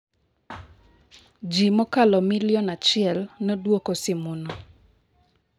Ji mokalo milion achiel nodwoko simuno.